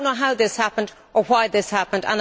I do not know how this happened or why this happened.